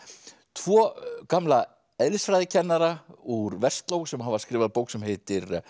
tvo gamla úr Versló sem hafa skrifað bók sem heitir